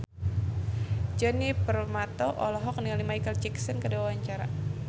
Djoni Permato olohok ningali Micheal Jackson keur diwawancara